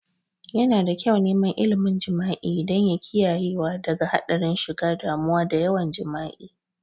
Yana da kyau neman ilmin jima'i don ya kiyayewa daga hadarin shiga damuwa da yawan jima'i